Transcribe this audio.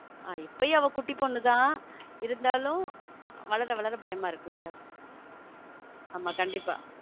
இப்பயும் அவ குட்டி பொண்ணு தான் இருந்தாலும் வளர வளர பயமா இருக்கு இல்ல ஆமா கண்டிப்பா.